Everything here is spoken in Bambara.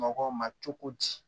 Mɔgɔw ma cogo di